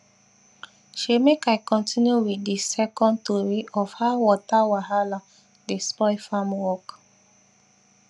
shey make i continue with the second tori of how weather wahala dey spoil farm work